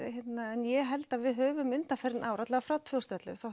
en ég held að við höfum frá tvö þúsund og ellefu